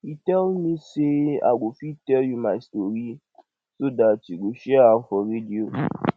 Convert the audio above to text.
he tell me say i go fit tell you my story so dat you go share am for radio